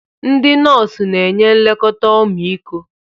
Ndị nọọsụ na-enye nlekọta ọmịiko.